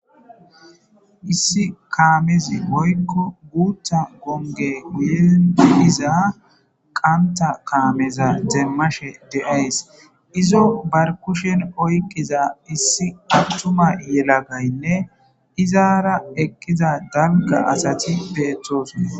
Issi kaamezi woyko guuthta gonggey guyera diza kaameza demashe days izo oykiza atuma asay izara eqida dalgga asay bettees.